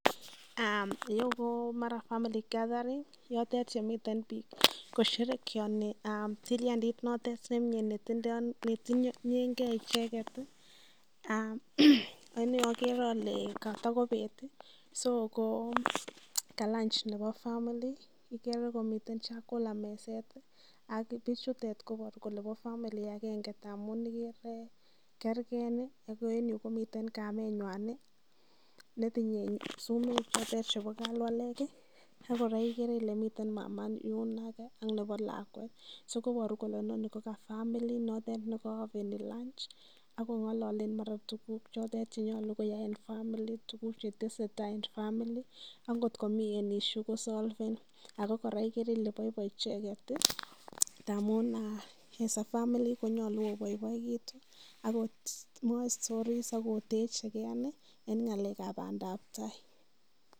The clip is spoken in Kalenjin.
Ireyu komara family gathering yotet yemiten biik kosherekeani tilyandit noton nemye ne tinyenge icheget. Ak ni ogere ole kotokobeet so ko kalanj nebo family nekomiten chakula meset ak bichutet koboru kole bo family agenge ngamun igere ile kerge, agoen yu komiten kamenywan netinye sumek che ter chebo kalwalek ak kora igere ile miten mama yun age nebo lakwet so inoni koboru kole inoni ko ka family notet ne koome lanji ak kong'ololen mara tuguk chotet chenyolu koyai en family tuguk che tesetai en family ak ngotko komi any issue kosolven ago kora igere ile boiboi icheget ngamun as a familyv konyolu oboiboegitu ak mwoe stories ak otechi ke en ng'alek ab bandab tai.